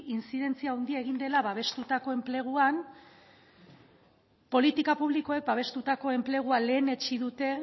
intzidentzia handia egin dela babestutako enpleguan politika publikoek babestutako enplegua lehenetsi dute